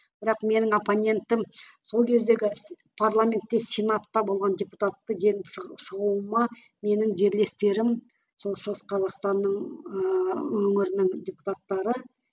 бірақ менің оппонентім сол кездегі парламентте сенатта болған депутатты жеңіп шығуыма менің жерлестерім сол шығыс қазақстанның ыыы өңірінің депутаттары